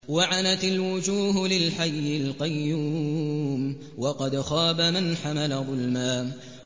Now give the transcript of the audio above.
۞ وَعَنَتِ الْوُجُوهُ لِلْحَيِّ الْقَيُّومِ ۖ وَقَدْ خَابَ مَنْ حَمَلَ ظُلْمًا